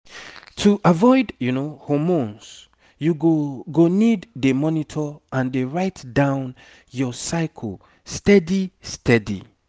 to avoid hormones you go go need dey monitor and dey write down your cycle steady steady